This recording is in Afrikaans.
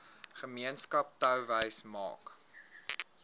gemeenskap touwys maak